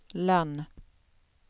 Lönn